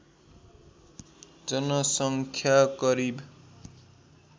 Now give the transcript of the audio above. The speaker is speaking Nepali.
जनसङ्ख्या करिब